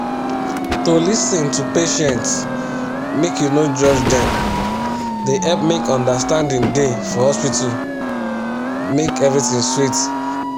to lis ten to patients make u no judge dem dey help make understanding da for hospital make everything sweet